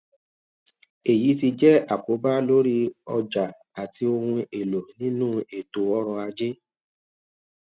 èyí ti jẹ àkóbá lórí ọjà àti ohun èlò nínú ètò ọrọ ajé